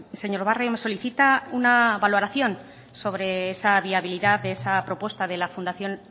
señor barrio me solicita una valoración sobre esa viabilidad de esa propuesta de la fundación